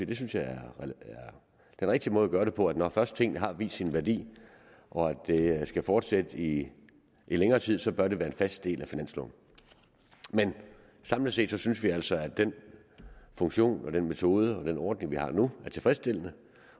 det synes jeg er den rigtige måde at gøre det på at når først tingene har vist sin værdi og at det skal fortsætte i længere tid så bør det være en fast del af finansloven men samlet set synes vi altså at den funktion og den metode og den ordning vi har nu er tilfredsstillende